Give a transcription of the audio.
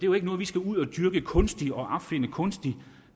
jo ikke noget vi skal ud at dyrke kunstigt og opfinde kunstigt